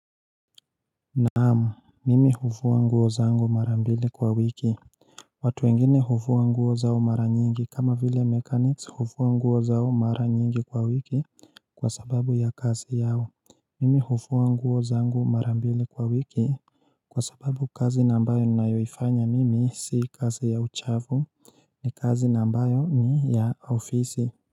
Naamu mimi hufua nguo zangu mara mbili kwa wiki watu wengine hufua nguo zao mara nyingi kama vile mekaniks hufua nguo zao mara nyingi kwa wiki kwa sababu ya kazi yao Mimi hufua nguo zangu mara mbili kwa wiki kwa sababu kazi nambayo ni nayoifanya mimi si kazi ya uchavu ni kazi nambayo ni ya ofisi.